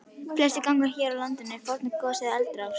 Flestir gangar hér á landi eru fornar gos- eða eldrásir.